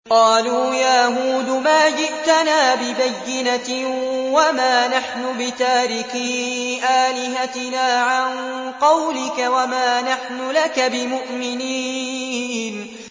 قَالُوا يَا هُودُ مَا جِئْتَنَا بِبَيِّنَةٍ وَمَا نَحْنُ بِتَارِكِي آلِهَتِنَا عَن قَوْلِكَ وَمَا نَحْنُ لَكَ بِمُؤْمِنِينَ